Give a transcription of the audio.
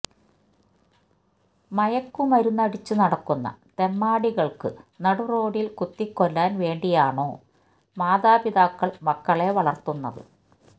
മയക്കുമരുന്നടിച്ചു നടക്കുന്ന തെമ്മാടികള്ക്കു നടുറോഡില് കുത്തിക്കൊല്ലാന് വേണ്ടിയാണോ മാതാപിതാക്കള് മക്കളെ വളര്ത്തുന്നത്